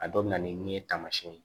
A dɔ bɛ na ni ye taamasiyɛn ye